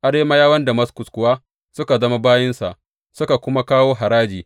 Arameyawan kuwa suka zama bayinsa, suka kuma kawo haraji.